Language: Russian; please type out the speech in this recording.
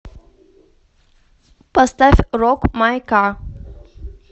поставь рок май ка